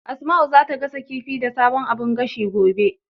Asma'u zata gasa kifi da sabon abun gashin, gobe.